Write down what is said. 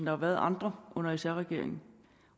har været andre under sr regeringen